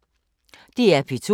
DR P2